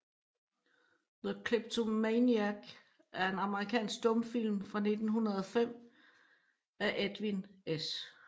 The Kleptomaniac er en amerikansk stumfilm fra 1905 af Edwin S